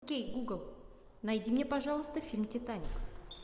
окей гугл найди мне пожалуйста фильм титаник